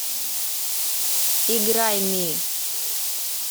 играй ми